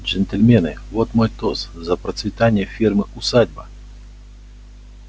джентльмены вот мой тост за процветание фермы усадьба